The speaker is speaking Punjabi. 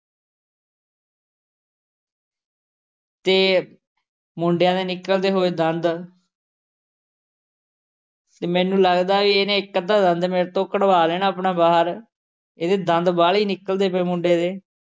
ਅਤੇ ਮੁੰਡਿਆਂ ਦੇ ਨਿਕਲਦੇ ਹੋਏ ਦੰਦ ਅਤੇ ਮੈਨੂੰ ਲੱਗਦਾ ਬਈ ਇਹਨੇ ਇੱਕ ਅੱਧਾ ਦੰਦ ਮੇਰੇ ਤੋਂ ਕੱਢਵਾ ਲੈਣਾ ਆਪਣਾ ਬਾਹਰ, ਇਹਦੇ ਦੰਦ ਵਾਹਲੇ ਨਿਕਲਦੇ ਪਏ ਮੁੰਡੇ ਦੇ,